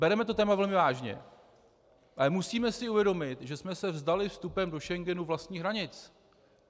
Bereme to téma velmi vážně, ale musíme si uvědomit, že jsme se vzdali vstupem do Schengenu vlastních hranic.